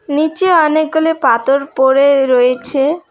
নীচে অনেকগুলি পাথর পড়ে রয়েছে।